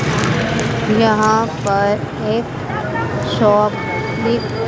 यहां पर एक शॉप दिख--